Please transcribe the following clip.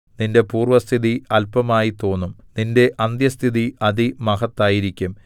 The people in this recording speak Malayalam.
നിന്റെ പൂർവ്വസ്ഥിതി അല്പമായിത്തോന്നും നിന്റെ അന്ത്യസ്ഥിതി അതിമഹത്തായിരിക്കും